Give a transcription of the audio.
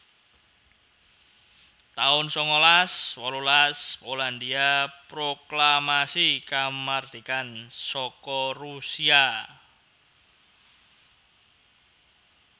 taun sangalas wolulas Polandhia proklamasi kamardikan saka Rusia